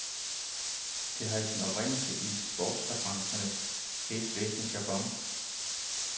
Det har sin oprindelse i sportsreferenternes hæsblæsende jargon.